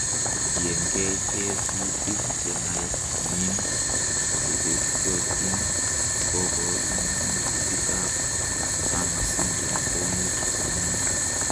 Kotiengei tekutik chenin chebetiotin, koborunutikb Turner syndrome komuch komong'.